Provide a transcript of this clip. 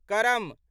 करम